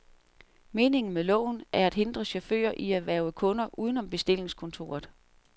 Meningen med loven er at hindre chauffører i at hverve kunder uden om bestillingskontoret.